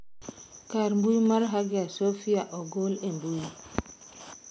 Kar mbui mar Hagia Sophia ogol e mbui.